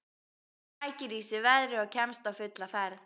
Sækir í sig veðrið og kemst á fulla ferð.